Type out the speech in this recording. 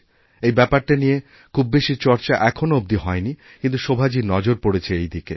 এই ব্যাপারটার নিয়ে খুব বেশি চর্চা এখনও অবধি হয় নিকিন্তু শোভাজীর নজর পড়েছে এদিকে